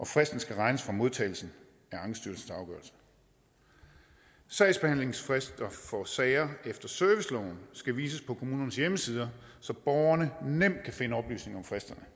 fristen skal regnes fra modtagelsen af ankestyrelsens afgørelse sagsbehandlingsfrister for sager efter serviceloven skal vises på kommunernes hjemmesider så borgerne nemt kan finde oplysninger om fristerne